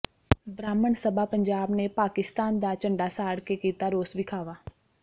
ਬ੍ਰਾਹਮਣ ਸਭਾ ਪੰਜਾਬ ਨੇ ਪਾਕਿਸਤਾਨ ਦਾ ਝੰਡਾ ਸਾੜ ਕੇ ਕੀਤਾ ਰੋਸ ਵਿਖਾਵਾ